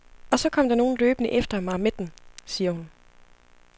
Og så kom der nogen løbende efter mig med den, siger hun.